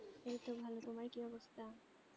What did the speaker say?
এইতো ভালো তোমার কি অবস্থা?